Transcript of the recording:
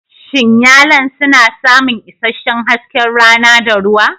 Shin yalon suna samun isasshen hasken rana da ruwa?